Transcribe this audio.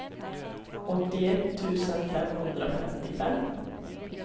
åttioett tusen femhundrafemtiofem